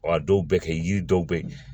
Wa a dɔw bɛ kɛ yiri dɔw bɛ yen